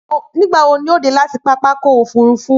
Nígbà wo ni o dé láti pápákọ̀ òfúrufú